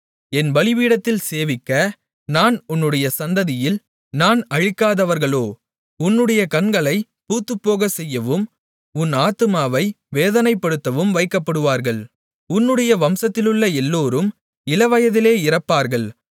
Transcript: என் பலிபீடத்தில் சேவிக்க நான் உன்னுடைய சந்ததியில் நான் அழிக்காதவர்களோ உன்னுடைய கண்களைப் பூத்துப்போகச்செய்யவும் உன் ஆத்துமாவை வேதனைப்படுத்தவும் வைக்கப்படுவார்கள் உன்னுடைய வம்சத்திலுள்ள எல்லோரும் இளவயதிலே இறப்பார்கள்